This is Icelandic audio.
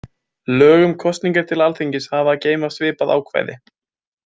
Lög um kosningar til Alþingis hafa að geyma svipað ákvæði.